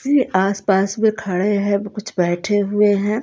ये आसपास में खड़े हैं कुछ बैठे हुए हैं।